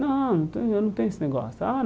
Não, eu não tenho eu não tenho esse negócio. Ah